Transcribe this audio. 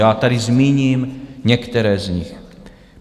Já tady zmíním některé z nich.